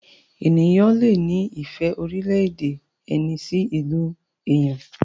ènìyàn lẹ ní ìfẹ́ orílẹ̀-èdè ẹni sí ilú èyán.